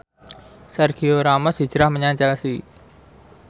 Sergio Ramos hijrah menyang Chelsea